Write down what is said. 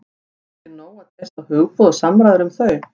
En það er ekki nóg að treysta á hugboð og samræður um þau.